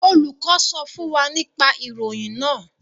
Olùkọ sọ fún wa nipa ìròyìn náà.